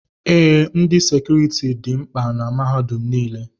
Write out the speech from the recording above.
Ee, ndị sekuriti dị mkpa na mahadum nile.